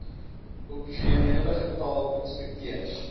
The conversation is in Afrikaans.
optimale getal inspekteurs